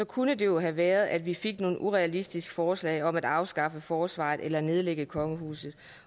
kunne det jo have været sådan at vi fik nogle urealistiske forslag om at afskaffe forsvaret eller nedlægge kongehuset